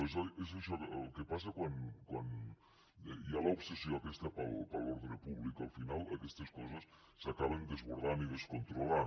és això el que passa quan hi ha l’obsessió aquesta per l’ordre públic que al final aquestes coses s’acaben desbordant i descontrolant